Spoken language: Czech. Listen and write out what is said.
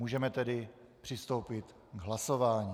Můžeme tedy přistoupit k hlasování.